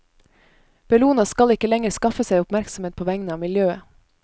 Bellona skal ikke lenger skaffe seg oppmerksomhet på vegne av miljøet.